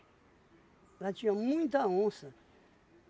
Lá tinha muita onça.